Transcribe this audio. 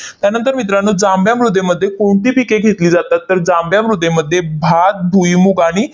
त्यानंतर मित्रांनो, जांभ्या मृदेमध्ये कोणती पिके घेतली जातात? तर जांभ्या मृदेमध्ये भात, भुईमूग आणि